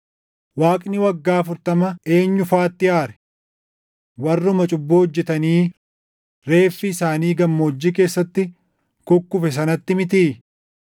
Waaqni waggaa afurtama eenyu faatti aare? Warruma cubbuu hojjetanii reeffi isaanii gammoojjii keessatti kukkufe sanatti mitii?